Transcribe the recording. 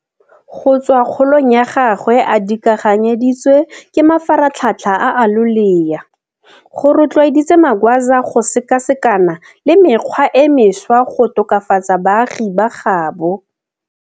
Go tswa kgolong ya gagwe a dikaganyeditswe ke mafaratlhatlha a a loleya, go rotloeditse Magwaza go sekasekana le mekgwa e mešwa go tokafatsa baagi ba gaabo.